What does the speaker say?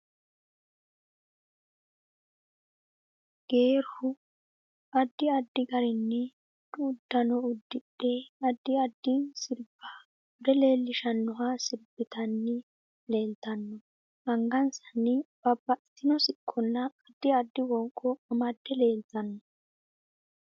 Geerru addi addi garinni budu uddanno addidhe addi addi sirbba bude leelishanoha sirbitanni leeltanno angasanni babbxitino siqqonna addi addi wonqqo amade leeltanno